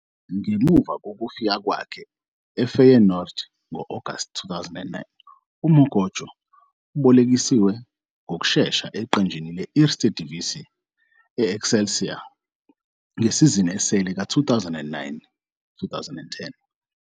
Ngemuva kokufika kwakhe eFeyenoord ngo-Agasti 2009, uMokotjo ubolekiswe ngokushesha eqenjini le- Eerste Divisie i- Excelsior ngesizini esele ka- 2009-10.